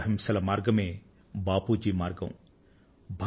శాంతి అహింసల మార్గమే బాపూజీ మార్గం